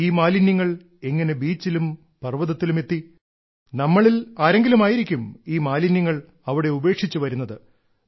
ഈ മാലിന്യങ്ങൾ എങ്ങനെ ബീച്ചിലും പർവ്വതത്തിലും എത്തി നമ്മളിൽ ആരെങ്കിലും ആയിരിക്കും ഈ മാലിന്യങ്ങൾ അവിടെ ഉപേക്ഷിച്ച് വരുന്നത്